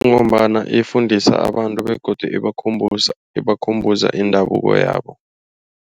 Ngombana ifundisa abantu begodu ibakhumbuza, ibakhumbuza indabuko yabo.